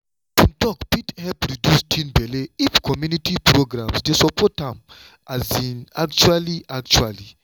open talk fit help reduce teen belle if community programs dey support am um actually actually.